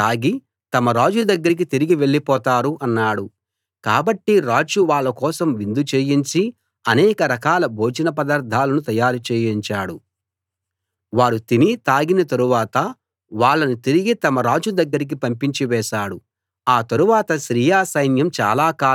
కాబట్టి రాజు వాళ్ళ కోసం విందు చేయించి అనేక రకాల భోజన పదార్థాలను తయారు చేయించాడు వారు తిని తాగిన తరువాత వాళ్ళను తిరిగి తమ రాజు దగ్గరికి పంపించి వేశాడు ఆ తరువాత సిరియా సైన్యం చాలా కాలం వరకూ ఇశ్రాయేలు దేశంలో అడుగు పెట్టలేదు